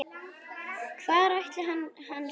Hvar ætli hann sofi?